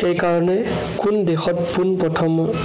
সেই কাৰনে কোন দেশত পোণ প্ৰথম